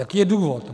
Jaký je důvod?